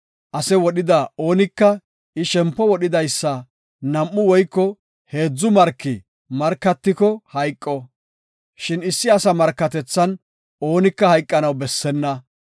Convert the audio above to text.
“Ase wodhida oonika I shempo wodhidaysa nam7u woyko heedzu marki markatiko hayqo, shin issi asa markatethan oonika hayqanaw bessenna.